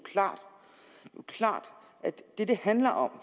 klart at det det handler om